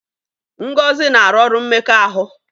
Ngozi na-arụ ọrụ mmekọahụ.